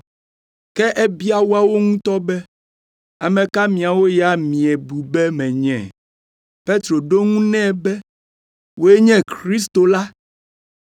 Ke ebia woawo ŋutɔ be, “Ame ka miawo ya miebu be menye?” Petro ɖo eŋu nɛ be, “Wòe nye Kristo la!”